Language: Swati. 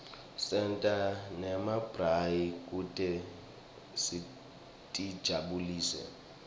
senta nemabrayi kute sitijabulise